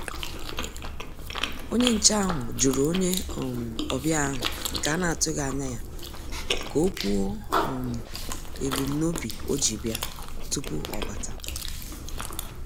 Onye nchè ahụ́ jụ̀rụ̀ onye um ọ́bị̀à ahụ́ nke a na-atụ́ghị́ ányá yá, kà ọ́ kwuò um èbùm n'óbì o ji bị̀à, tupu ọ́ bàtá.